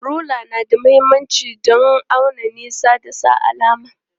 Rula na da mahimmanci don auna nisa da sa alama.